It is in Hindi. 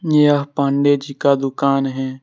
यह पांडे जी का दुकान है।